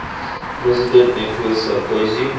president nicolas sarkozy